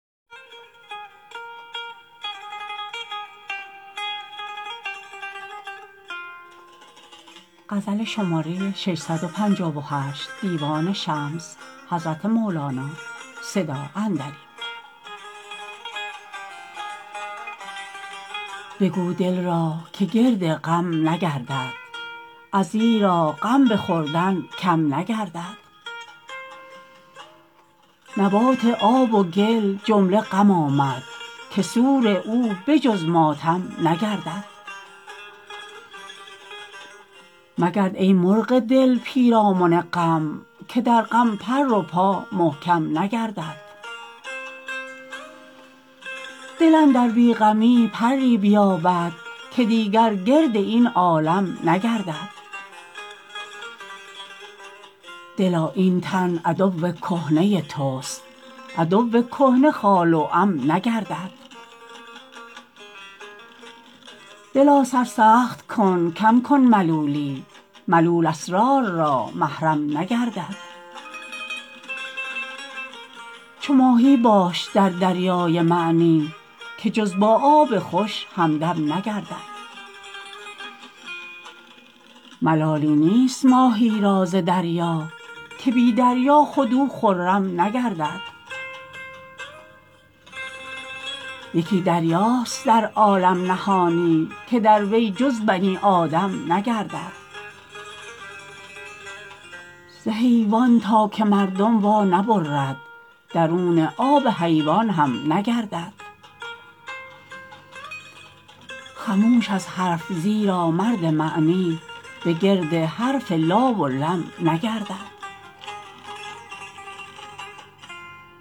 بگو دل را که گرد غم نگردد ازیرا غم به خوردن کم نگردد نبات آب و گل جمله غم آمد که سور او به جز ماتم نگردد مگرد ای مرغ دل پیرامن غم که در غم پر و پا محکم نگردد دل اندر بی غمی پری بیابد که دیگر گرد این عالم نگردد دلا این تن عدو کهنه تست عدو کهنه خال و عم نگردد دلا سر سخت کن کم کن ملولی ملول اسرار را محرم نگردد چو ماهی باش در دریای معنی که جز با آب خوش همدم نگردد ملالی نیست ماهی را ز دریا که بی دریا خود او خرم نگردد یکی دریاست در عالم نهانی که در وی جز بنی آدم نگردد ز حیوان تا که مردم وانبرد درون آب حیوان هم نگردد خموش از حرف زیرا مرد معنی بگرد حرف لا و لم نگردد